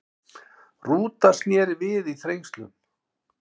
Rúta snéri við í Þrengslum